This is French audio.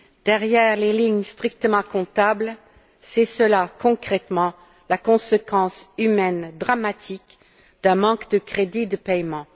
Derrière les lignes strictement comptables, c'est cela, concrètement, la conséquence humaine dramatique d'un manque de crédits de paiement.